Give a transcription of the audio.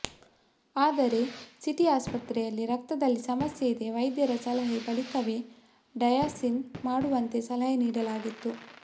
ಆದರೆ ಸಿಟಿ ಆಸ್ಪತ್ರೆಯಲ್ಲಿ ರಕ್ತದಲ್ಲಿ ಸಮಸ್ಯೆ ಇದೆ ವೈದ್ಯರ ಸಲಹೆ ಬಳಿಕವೇ ಡಯಾಸಿಸ್ ಮಾಡುವಂತೆ ಸಲಹೆ ನೀಡಲಾಗಿತ್ತು